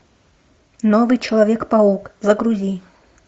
новый человек паук загрузи